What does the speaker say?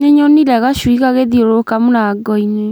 Nĩnyonire gacui gagĩthiũrũruka mũrango-inĩ